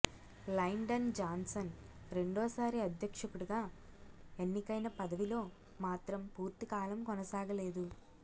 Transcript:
Lyndon Johnson రెండోసారి అధ్యక్షుడిగా ఎన్నికైనా పదవిలో మాత్రం పూర్తికాలం కొనసాగలేదు